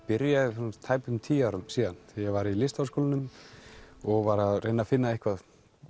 byrjaði fyrir tæpum tíum árum þegar ég var í Listaháskólanum og var að reyna að finna eitthvað